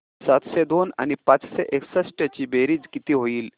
सातशे दोन आणि पाचशे एकसष्ट ची बेरीज किती होईल